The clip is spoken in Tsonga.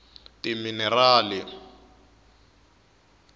timinerali